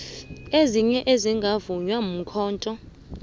ezinye ezingavunywa yikhotho